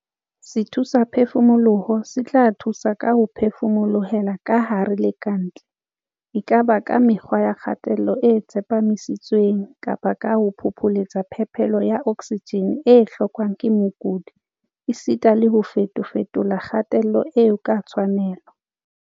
Sethusaphefumoloho se tla thusa ka ho phefumolohela kahare le ka ntle, e ka ba ka mekgwa ya kgatello e tsepamisitsweng kapa ka ho phopholetsa phepelo ya oksijene e hlokwang ke mokudi esita le ho fetofetola kgatello eo ka tshwanelo.